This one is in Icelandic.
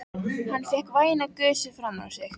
Hann fékk væna gusu framan á sig.